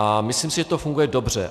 A myslím si, že to funguje dobře.